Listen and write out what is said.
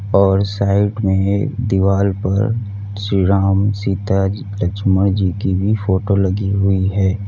और साइड में एक दीवार पर श्री राम सीता जी लक्ष्मण जी की भी फोटो लगी हुई है।